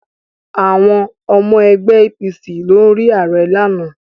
Àwọn ọmọ ẹgbẹ́ APC lọ rí ààrẹ ní àná